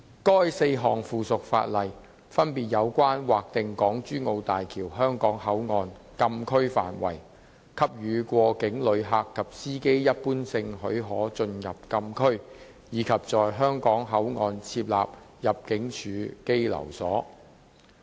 該4項附屬法例分別有關劃定港珠澳大橋香港口岸禁區範圍、給予過境旅客及司機一般性許可進入禁區，以及在香港口岸設立入境處羈留所。